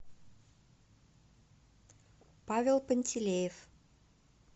павел пантелеев